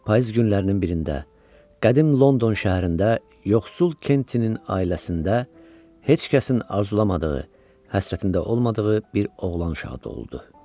Payız günlərinin birində qədim London şəhərində yoxsul Kentinin ailəsində heç kəsin arzulamadığı, həsrətində olmadığı bir oğlan uşağı doğuldu.